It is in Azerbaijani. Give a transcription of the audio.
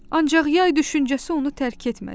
Ancaq yay düşüncəsi onu tərk etmədi.